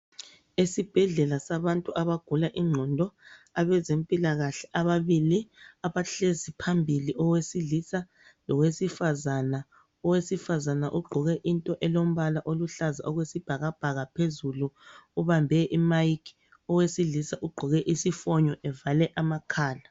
Esibhedlela sabantu abagula ingqondo abezempilakahle ababili abahlezi phambili owesilisa lowesifazana Owesifazana ugqoke into elombala oluhlaza okwesibhakabhaka phezulu ubambe imayikhi owesilisa ugqoke isifonyo evale amakhala.